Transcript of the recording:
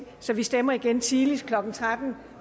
så vi stemmer igen tidligst klokken tretten